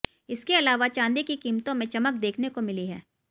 इसके अलावा चांदी की कीमतों में चमक देखने को मिली है